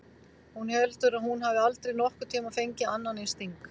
Hún heldur að hún hafi aldrei nokkurn tímann fengið annan eins sting.